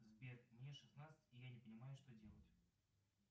сбер мне шестнадцать и я не понимаю что делать